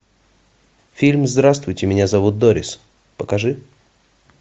фильм здравствуйте меня зовут дорис покажи